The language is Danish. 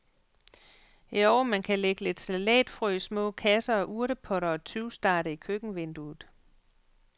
Jo, man kan lægge lidt salatfrø i små kasser og urtepotter og tyvstarte i køkkenvinduet.